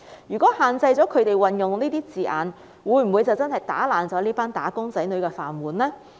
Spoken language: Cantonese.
如果限制了他們運用這些字眼，會否真的打破這群"打工仔女"的"飯碗"呢？